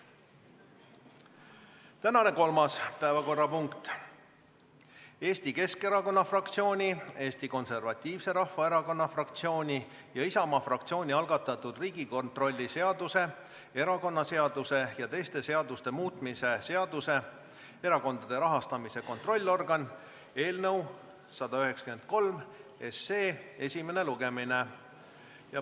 Tänane kolmas päevakorrapunkt: Eesti Keskerakonna fraktsiooni, Eesti Konservatiivse Rahvaerakonna fraktsiooni ja Isamaa fraktsiooni algatatud Riigikontrolli seaduse, erakonnaseaduse ja teiste seaduste muutmise seaduse eelnõu 193 esimene lugemine.